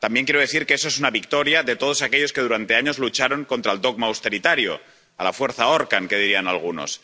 También quiero decir que eso es una victoria de todos aquellos que durante años lucharon contra el dogma austeritario —a la fuerza ahorcan, que dirían algunos—.